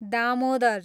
Damodar